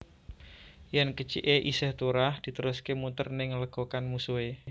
Yén kèciké isih turah ditèruské mutèr ning lègokan musuhé